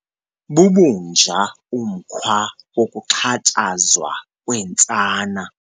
Bubunja umkhwa wokuxhatshazwa kweentsana.